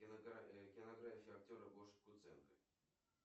кинография актера гоши куценко